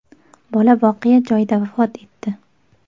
Bola voqea joyida vafot etdi.